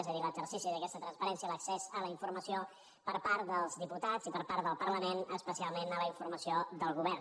és a dir l’exercici d’aquesta transparència l’accés a la informació per part dels diputats i per part del parlament especialment a la informació del govern